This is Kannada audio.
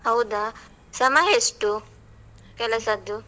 ಹೌದಾ, ಸಮಯ ಎಸ್ಟು ಕೆಲಸದ್ದು?